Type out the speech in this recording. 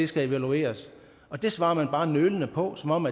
skal evalueres og det svarer man bare nølende på som om